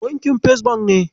Bankin First Bank ne.